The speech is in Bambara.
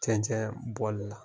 Cɛncɛn bɔ la.